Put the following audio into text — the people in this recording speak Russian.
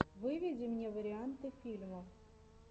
выведи мне варианты фильмов